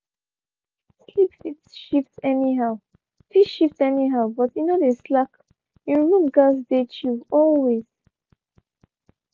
sleep fit shift anyhow fit shift anyhow but e no dey slack en room gats stay chill always.